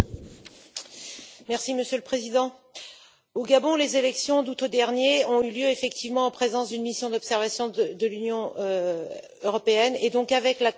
Monsieur le Président, au Gabon, les élections d'août dernier ont eu lieu, effectivement, en présence d'une mission d'observation de l'Union européenne, et donc avec l'accord du gouvernement en place.